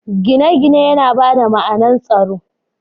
Gine-gine yana ba da ma’anar tsaro.